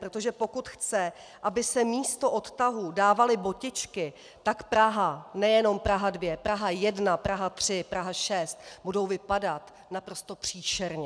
Protože pokud chce, aby se místo odtahů dávaly botičky, tak Praha, nejenom Praha 2, Praha 1, Praha 3, Praha 6, bude vypadat naprosto příšerně.